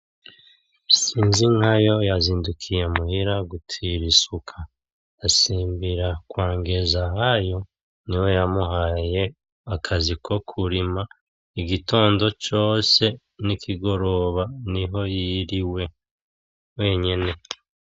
Sinzinkayo ya zindukiye muhira gutira isuka asimbukira kwa Ngenzahayo niwe yamuhaye akazi ko kurima igitondo cose n’ikigoroba niho yiriwe wenyene.